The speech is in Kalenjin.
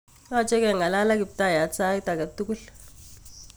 Yoche ke'ngalal ak kiptayat sait agetugul